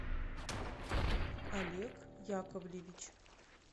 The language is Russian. олег яковлевич